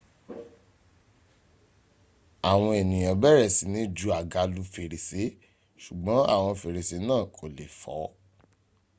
àwọn ènìyàn bẹ̀rẹ̀ sí ni ju àga lu fèrèsé ṣùgbọ́n àwọn fèrèsé náà kò lè fọ